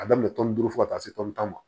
A daminɛ tɔn ni duuru fɔ ka taa se tɔni tan ma